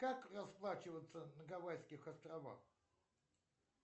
как расплачиваться на гавайских островах